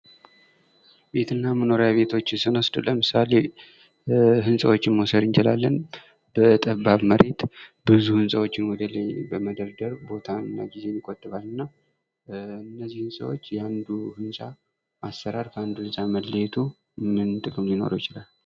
መኖሪያ ቤት ለምሳሌ ህንፃዎችን መውሰድ እንችላለን። በጠባብ መሬት ብዙ ህንፃዎችን እንግዲህ በመደርደር ቦታና ጊዜን ይጥባል ።እነዚህም የአንዱ ህንፃዎች አሰራር ከአንዱ መለያየቱ ምን ጥቅም ሊኖረው ይችላል?